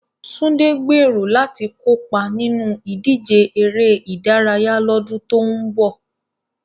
Tunde gbèrò láti kópa nínú ìdíje eré ìdárayá lọ́dún tó ń bọ̀.